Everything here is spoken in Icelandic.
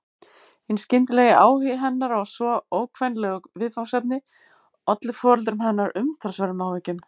Hinn skyndilegi áhugi hennar á svo ókvenlegu viðfangsefni olli foreldrum hennar umtalsverðum áhyggjum.